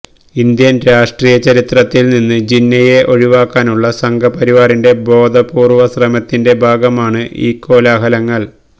Indian രാഷ്ട്രീയ ചരിത്രത്തില് നിന്ന് ജിന്നയെ ഒഴിവാക്കാനുള്ള സംഘ്പരിവാറിന്റെ ബോധപൂര്വ ശ്രമത്തിന്റെ ഭാഗമാണ് ഈ കോലാഹലങ്ങള്